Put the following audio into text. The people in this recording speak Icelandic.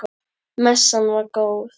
Messan var góð.